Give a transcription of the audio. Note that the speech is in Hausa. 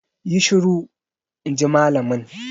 Yi shiru! in ji malamin.